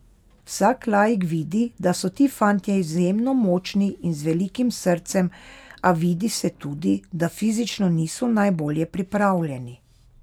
Vsak laik vidi, da so ti fantje izjemno močni in z velikim srcem, a vidi se tudi, da fizično niso najbolje pripravljeni.